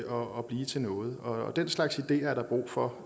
og blive til noget den slags ideer er der brug for